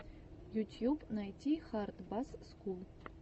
ютьюб найти хард басс скул